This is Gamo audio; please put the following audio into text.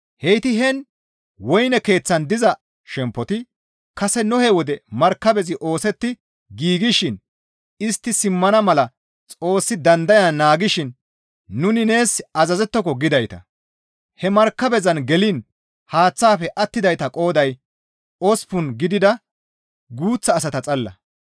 Heyti heen woyne keeththan diza shemppoti kase Nohe wode markabezi oosetti giigshin istti simmana mala Xoossi dandayan naagishin nuni nees azazettoko gidayta. He markabezan geliin haaththafe attidayta qooday osppun gidida guuththa asata xalla.